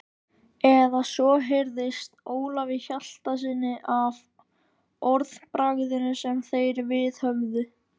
Eða svo heyrðist Ólafi Hjaltasyni af orðbragðinu sem þeir viðhöfðu.